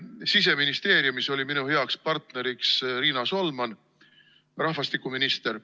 Siseministeeriumis oli minu heaks partneriks Riina Solman, rahvastikuminister.